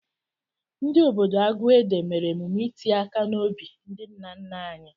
Ndị obodo Aguede mere emume iti aka n'obi ndị nna nna anyị.